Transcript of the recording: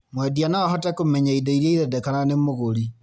Mwendia no ahote kũmenya indo iria irendekana nĩ mũgũri